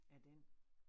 Af den